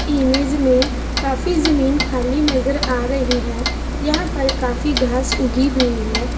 Image में काफी जमीन खाली नजर आ रही है यहाँ पर काफी घास उंगी हुई है।